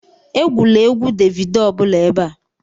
Egwula egwu Davido ọ bụla ebe a